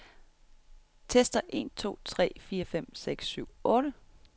Tester en to tre fire fem seks syv otte.